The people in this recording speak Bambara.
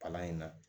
Palan in na